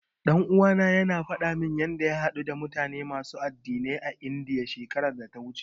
Ɗan uwana yana faɗa min yanda ya haɗu da mutane masu addinai a Indiya, shekarar da ta wuce.